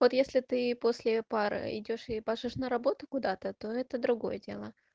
вот если ты после пары идёшь ебашишь на работу куда-то то это другое дело